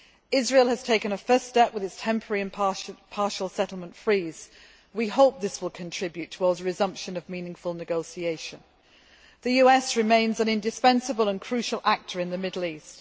Israel has taken a first step with its temporary and partial settlement freeze. We hope this will contribute towards a resumption of meaningful negotiations. The US remains an indispensable and crucial actor in the Middle East.